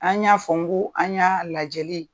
An y'a fɔ n k'u an y'a lajɛli